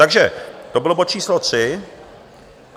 Takže to byl bod číslo tři.